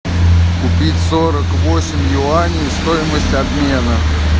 купить сорок восемь юаней стоимость обмена